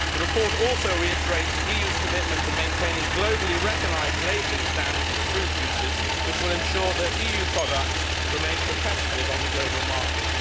The report also reiterates the EU's commitment to maintaining globally recognised labelling standards for fruit juices, which will ensure that EU products remain competitive on the global market.